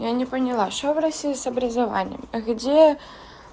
я не поняла что в россии с образованием а где